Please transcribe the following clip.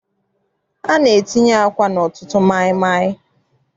A na-etinye àkwá n'ọtụtụ maịmaị.